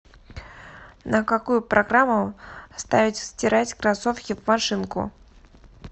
на какую программу ставить стирать кроссовки в машинку